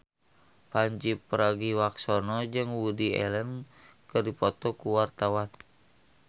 Pandji Pragiwaksono jeung Woody Allen keur dipoto ku wartawan